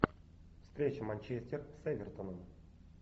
встреча манчестер с эвертоном